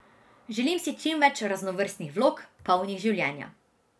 Želim si čim več raznovrstnih vlog, polnih življenja.